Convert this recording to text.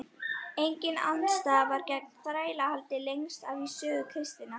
Engin andstaða var gegn þrælahaldi lengst af í sögu kristninnar.